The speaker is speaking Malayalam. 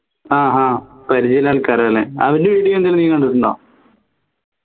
ആഹ് അഹ് പരിചയള്ള ആൾക്കാരല്ലേ അവൻറെ video എന്തേലും നീ കണ്ടിട്ടുണ്ടോ